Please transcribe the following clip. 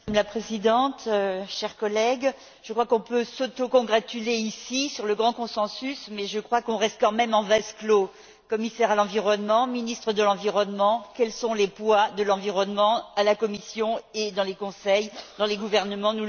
Madame la Présidente, chers collègues, nous pouvons nous autocongratuler ici sur le grand consensus, mais nous restons quand même en vase clos commissaire à l'environnement, ministres de l'environnement, quels sont les poids de l'environnement à la Commission et dans les Conseils, dans les gouvernements?